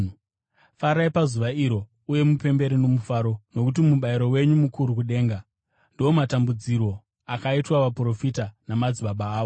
“Farai pazuva iro uye mupembere nomufaro, nokuti mubayiro wenyu mukuru kudenga. Ndiwo matambudzirwo akaitwa vaprofita namadzibaba avo.